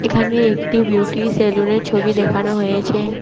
এখানে একটি beauty salon -এর ছবি দেখানো হয়েছে।